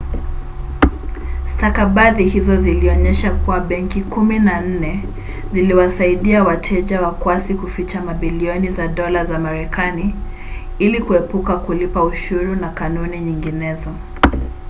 stakabadhi hizo zilionyesha kuwa benki kumi na nne ziliwasaidia wateja wakwasi kuficha mabilioni ya dola za marekanai ili kuepuka kulipa ushuru na kanuni nyinginezo